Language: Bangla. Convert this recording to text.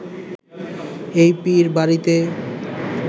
এই পীর বাড়িতে